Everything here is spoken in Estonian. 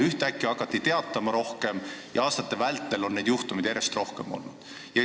Ühtäkki hakati rohkem sellistest juhtumitest teatama ja aastate vältel on seda järjest rohkem olnud.